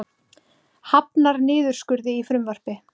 Hafnar niðurskurði í frumvarpi